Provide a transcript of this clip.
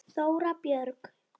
Þóra Björg.